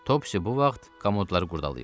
Topsy bu vaxt komodları qurdalayırdı.